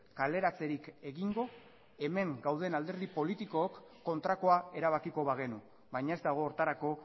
kaleratzerik egingo hemen gauden alderdi politikook kontrakoa erabakiko bagenu baina ez dago horretarako